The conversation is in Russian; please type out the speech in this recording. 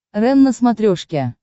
рен на смотрешке